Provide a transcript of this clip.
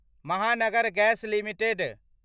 Mahanagar gas limited